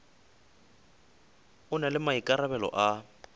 o na le maikarabelo a